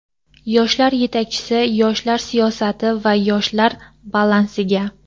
yoshlar yetakchisi yoshlar siyosati va yoshlar balansiga;.